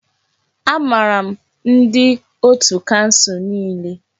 Amaara m ndi otù kansụl niile.